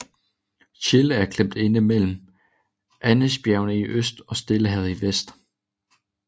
Chile er klemt inde mellem Andesbjergene i øst og Stillehavet i vest